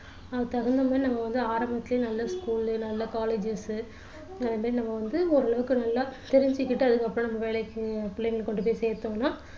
அதுக்கு தகுந்த மாதிரி நம்ம வந்து ஆரம்பத்திலேயே நல்ல school லயோ நல்ல colleges அதேமாதிரி நம்ம வந்து ஓரளவுக்கு நல்லா தெரிஞ்சுகிட்டு அதுக்கப்புறம் நம்ம வேலைக்கு பிள்ளைங்களை கொண்டு போய் சேர்த்தோம்னா